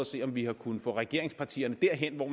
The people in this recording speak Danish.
se om vi har kunnet få regeringspartierne derhen hvor